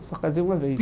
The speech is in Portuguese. Eu só casei uma vez.